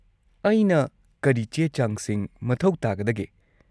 -ꯑꯩꯅ ꯀꯔꯤ ꯆꯦ-ꯆꯥꯡꯁꯤꯡ ꯃꯊꯧ ꯇꯥꯒꯗꯒꯦ?